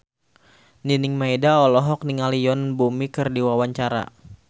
Nining Meida olohok ningali Yoon Bomi keur diwawancara